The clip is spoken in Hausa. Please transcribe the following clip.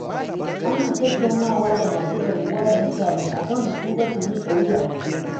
Ana tattaunawa da masu garkuwa da mutane, akan su tuba su miƙa wuya.